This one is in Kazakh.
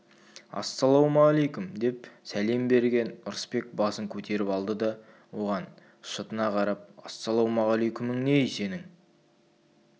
ассалаумалейкүм деп сәлем берген ырысбек басын көтеріп алды да оған шытына қарап ассалаумағалейкүмің не-ей сенің